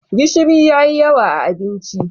gishiri ya yi yawa a abinci